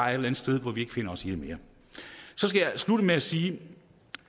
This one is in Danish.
andet sted hvor vi ikke finder os i det mere så skal jeg slutte med at sige